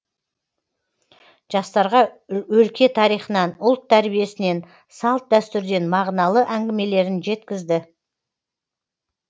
жастарға өлке тарихынан ұлт тәрбиесінен салт дәстүрден мағыналы әңгімелерін жеткізді